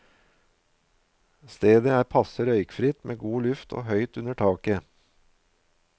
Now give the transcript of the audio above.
Stedet er passe røykfritt med god luft og høyt under taket.